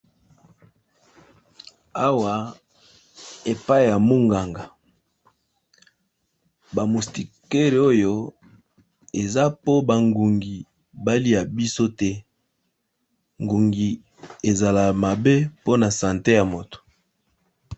Awa epai ya munganga ba mustikere oyo eza po bangungi balia biso te ngungi ezala mabe mpona sante ya moto.